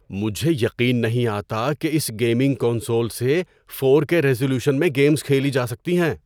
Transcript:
مجھے یقین نہیں آتا کہ اس گیمنگ کنسول سے فور کے ریزولیوشن میں گیمز کھیلی جا سکتی ہیں۔